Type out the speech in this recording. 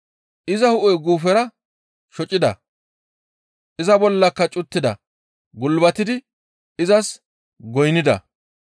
Iza hu7e guufera shocida; iza bollaka cuttida; gulbatidi izas goynnida.